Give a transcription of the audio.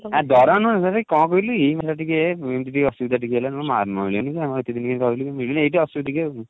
ଆ ଦରମା ନୁହେଁ ମାନେ କଣ କହିଲୁ ଏଇ ଭଳିଆ ଟିକେ ଏମିତି ଟିକେ ଅସୁବିଧା ଟିକେ ହେଲା ବେଳକୁ ମାରି ନଉଛନ୍ତି ଆମେ ଏତେ ଦିନ ହେଲା ରହିଲୁଣି ଟିକେ ଆଉ